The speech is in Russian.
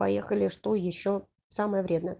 поехали что ещё самое время